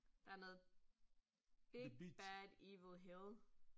Der noget big bad evil hill